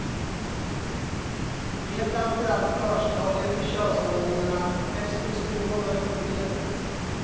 Det är framför allt förstadie till könshormonerna testosteron och östrogen.